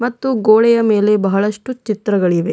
ಮತ್ತು ಗೋಡೆಯ ಮೇಲೆ ಬಹಳಷ್ಟು ಚಿತ್ರಗಳಿವೆ.